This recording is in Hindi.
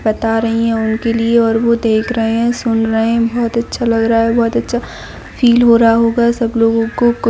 बता रही है उनके लिए और वह देख रहे है सुन रहे है बहुत अच्छा लग रहा है बहुत अच्छा फील हो रहा होगा सब लोगों को --